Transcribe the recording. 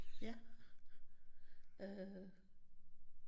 Ja øh